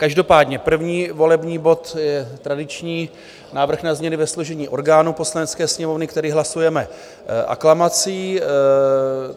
Každopádně první volební bod je tradiční - návrh na změny ve složení orgánů Poslanecké sněmovny, který hlasujeme aklamací.